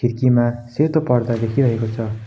खिड्कीमा सेतो पर्दा देखिरहेको छ।